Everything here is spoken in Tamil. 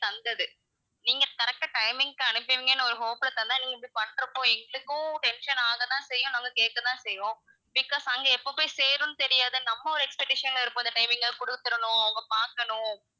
தந்தது நீங்க correct ஆ timing க்கு அனுப்புவீங்கன்னு ஒரு hope ல தந்தா, நீங்க இப்படி பண்றப்போ எங்களுக்கும் tension ஆக தான் செய்யும் நாங்க கேக்க தான் செய்வோம், because அங்க எப்ப போய் சேரும்ன்னு தெரியாது நம்ம ஒரு expectation ல இருப்போம் இந்த timing ல குடுத்திறணும் அவங்க பாக்கணும்,